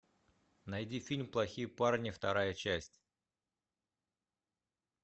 найди фильм плохие парни вторая часть